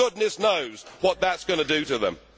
Goodness knows what that is going to do to them.